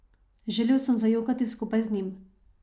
Želel sem zajokati skupaj z njim.